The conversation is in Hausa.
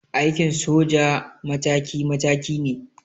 Aikin soja mataki mataki ne.